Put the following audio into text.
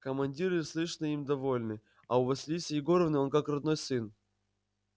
командиры слышно им довольны а у василисы егоровны он как родной сын